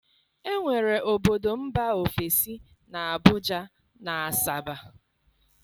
enwere obodo mba ofesi na Abuja na Asaba.